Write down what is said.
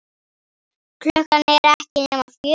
Klukkan er ekki nema fjögur.